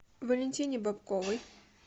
валентине бобковой